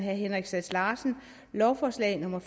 lovforslag nummer